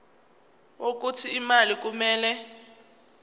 wokuthi imali kumele